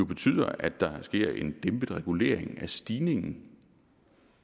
betyder at der sker en dæmpet regulering af stigningen